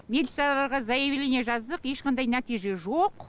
милицияларға заявление жаздық ешқандай нәтиже жоқ